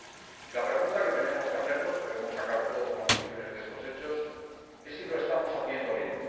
Y la pregunta que tenemos que hacernos debemos sacar todos conclusiones de estos hechos es si lo estamos haciendo bien.